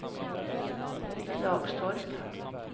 Klagstorp